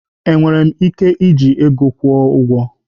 Enwere m ike iji ego kwụọ ụgwọ?